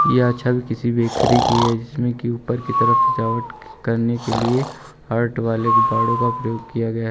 यह छत किसी बैकरी की है जिसमें की ऊपर की तरफ सजावट करने के लिए हार्ट वाले गुब्बारों का प्रयोग किया गया--